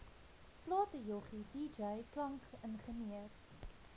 platejoggie dj klankingenieur